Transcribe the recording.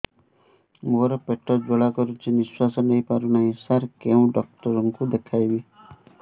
ମୋର ପେଟ ଜ୍ୱାଳା କରୁଛି ନିଶ୍ୱାସ ନେଇ ପାରୁନାହିଁ ସାର କେଉଁ ଡକ୍ଟର କୁ ଦେଖାଇବି